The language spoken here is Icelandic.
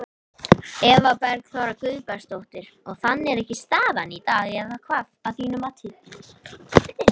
Eva Bergþóra Guðbergsdóttir: Og þannig er ekki staðan í dag eða hvað, að þínu mati?